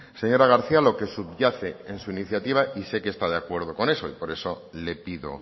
señora garcía lo que subyace en su iniciativa y usted está de acuerdo con eso y por eso le pido